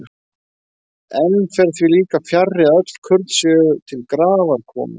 Enn fer því líka fjarri, að öll kurl séu til grafar komin.